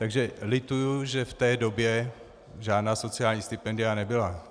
Takže lituji, že v té době žádná sociální stipendia nebyla.